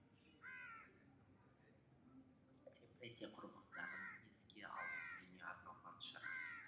репрессия құрбандарын еске алу күніне арналған шара